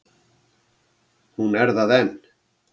Hún er það enn.